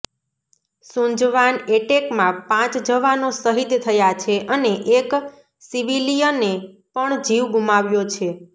સુંજવાન એટેકમાં પાંચ જવાનો શહીદ થયા છે અને એક સિવિલિયને પણ જીવ ગુમાવ્યો છે